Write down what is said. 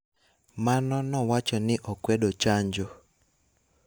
mano nowacho ni okwedo chanjo